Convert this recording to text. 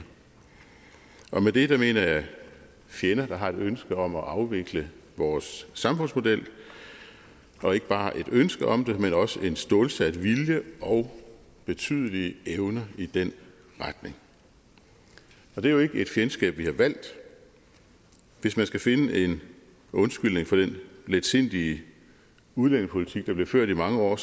og med det det mener jeg fjender der har et ønske om at afvikle vores samfundsmodel og ikke bare et ønske om det men også en stålsat vilje og betydelig evne i den retning det er jo ikke et fjendskab vi har valgt hvis man skal finde en undskyldning for den letsindige udlændingepolitik der blev ført i mange år